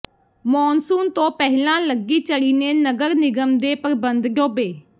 monsoon ਤੋਂ ਪਹਿਲਾਂ ਲੱਗੀ ਝੜੀ ਨੇ ਨਗਰ ਨਿਗਮ ਦੇ ਪ੍ਰਬੰਧ ਡੋਬੇ